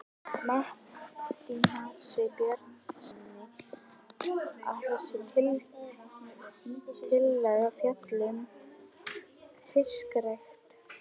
Matthíasi Bjarnasyni, að þessi tillaga fjalli um fiskrækt.